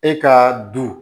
E ka du